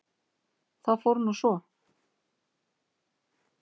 Það fór nú svo.